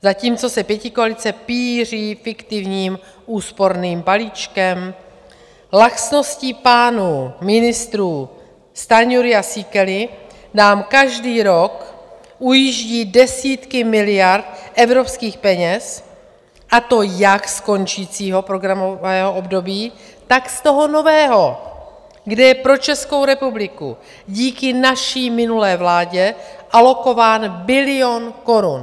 Zatímco se pětikoalice pýří (?) fiktivním úsporným balíčkem, laxností pánů ministrů Stanjury a Síkely nám každý rok ujíždí desítky miliard evropských peněz, a to jak z končícího programového období, tak z toho nového, kde je pro Českou republiku díky naší minulé vládě alokován bilion korun.